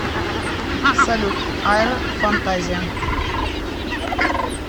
салют айро фантазия